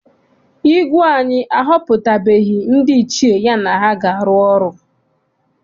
Igwe anyi ahọputabeghi ndị Ichie ya na ha ga arụkọ ọrụ.